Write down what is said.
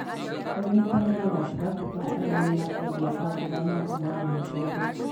Ũnyitanĩrĩ gatagatĩ ka arĩmi na endia a mboga no ũmagune othe.